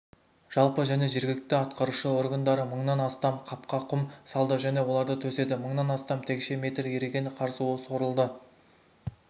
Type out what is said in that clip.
жалпы және жергілікті атқарушы органдары мыңнан астам қапқа құм салды және оларды төседі мыңнан астам текше метр еріген қар суы сорылды